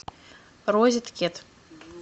розет кет